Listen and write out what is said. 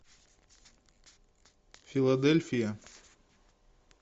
филадельфия